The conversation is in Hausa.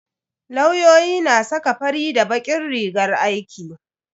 Lauyoyi na saka fari da bakin rigar aiki.